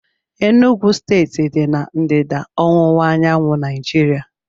Enugwu steeti dị na ndịda ọwụwa anyanwụ Naijiria